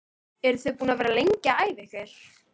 Eru þið búin að vera lengi að æfa ykkur?